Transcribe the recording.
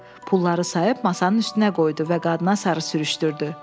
Pulları sayıb masanın üstünə qoydu və qadına sarı sürüşdürdü.